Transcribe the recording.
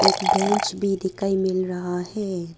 इक बेंच भी दिखाई मिल रहा है।